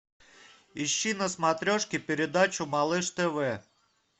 ищи на смотрешке передачу малыш тв